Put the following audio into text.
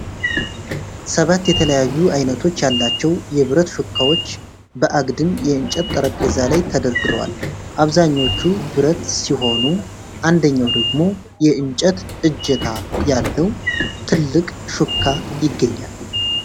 ሰባት የተለያዩ አይነቶች ያላቸው የብረት ሹካዎች በአግድም የእንጨት ጠረጴዛ ላይ ተደርድረዋል። አብዛኞቹ ብረት ሲሆኑ፣ አንደኛው ደግሞ የእንጨት እጀታ ያለው ትልቅ ሹካ ይገኛል።